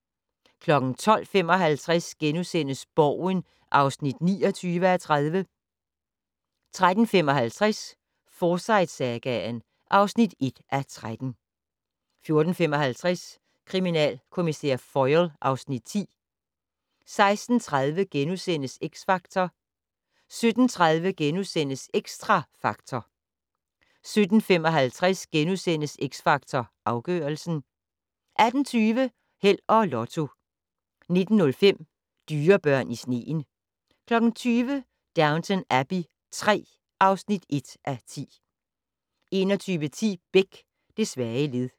12:55: Borgen (29:30)* 13:55: Forsyte-sagaen (1:13) 14:55: Kriminalkommissær Foyle (Afs. 10) 16:30: X Factor * 17:30: Xtra Factor * 17:55: X Factor Afgørelsen * 18:20: Held og Lotto 19:05: Dyrebørn i sneen 20:00: Downton Abbey III (1:10) 21:10: Beck: Det svage led